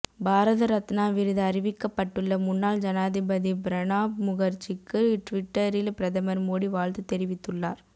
பாரத ரத்னா விருது அறிவிக்கப்பட்டுள்ள முன்னாள் ஜனாதிபதி பிரணாப் முகர்ஜிக்கு ட்விட்டரில் பிரதமர் மோடி வாழ்த்து தெரிவித்துள்ளார்